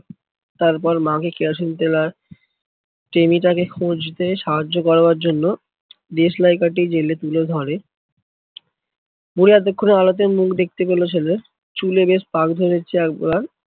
তারপর মাকে কেরোসিন তেল আর টেমিটাকে খুঁজতে সাহায্য করবার জন্য দেশলাই কাঠি জ্বেলে তুলে ধরে। বুড়ি এতক্ষনে আলোতে মুখ দেখতে পেলো ছেলের, চুলে বেশ পাক ধরেছে একবার